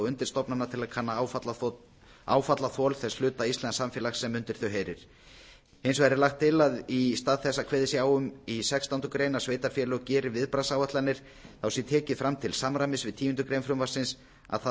undirstofnana til að kanna áfallaþol þess hluta íslensks samfélags sem undir þau heyrir hins vegar er lagt til að í stað þess að kveðið sé á um í sextándu grein að sveitarfélög geri viðbragðsáætlanir þá sé tekið fram til samræmis við tíundu greinar frumvarpsins að það